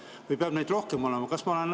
Või peab neid rohkem olema?